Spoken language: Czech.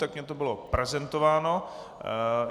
Tak mi to bylo prezentováno.